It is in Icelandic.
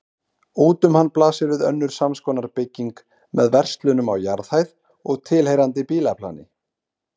Út um hann blasir við önnur samskonar bygging með verslunum á jarðhæð og tilheyrandi bílaplani.